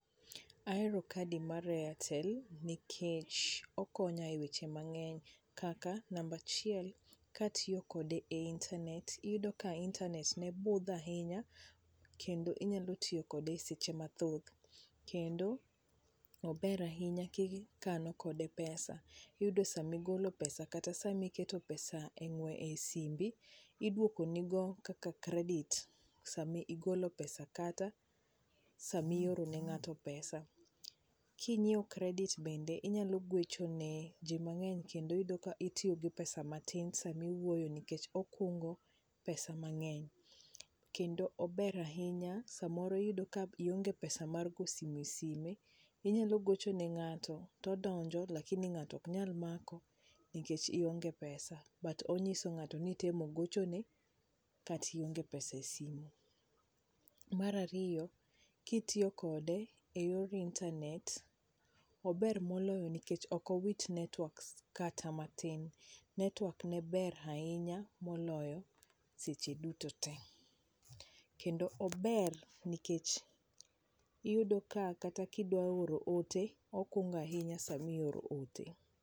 Ahero kadi mar airtel nikech okonya e weche mang'eny kaka namba achiel katiyo kode e internet iyudo ka internet ne udho ahinya kendo inyalo tiyo kode seche mathoth kendo ober ahinya kikano kode pesa iyudo sama igolo pesa kata iketo pesa e simbi iduoko ni go kaka credit sama igolo pesa kata sama ioro ne ng'ato pesa kinyiewo credit bende inyalo gocho ne ji mang'eny kendo iyudo ka itiyo gi pesa matin sama iwuoyo nikech ikungo pesa mang'eny kendo ober ahinya, samoro iyudo ka ionge pesa mar go simo e sime inyalo gocho ne ngato to odonjo lakini ngato ok nyal mako nikech ionge pesa but ong'iso ng'ato nitemo gochone kata ionge pesa e simo, mar ariyo kitiyo kode e yor internet, ober moloyo nikech ok owit internet kata matin ,network ne ber ahinya moloyo seche duto te kendo ober nikech iyudo ka idwa oro ote okungo ahinya sama ioro ote.